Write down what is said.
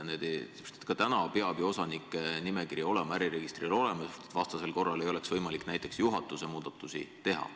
Ka täna peab ju osanike nimekiri olema äriregistril olemas, sest vastasel korral ei oleks võimalik näiteks juhatuse muudatusi teha.